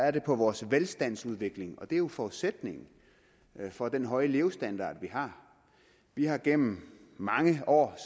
er på vores velstandsudvikling og den er jo forudsætningen for den høje levestandard vi har vi har gennem mange år